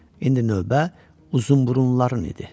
İndi növbə Uzunburunluların idi.